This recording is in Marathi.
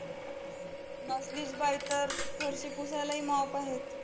नसलीच बाई तर, फरशी पुसायलाही mop आहेत.